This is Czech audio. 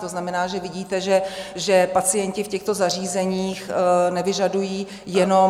To znamená, že vidíte, že pacienti v těchto zařízeních nevyžadují jenom...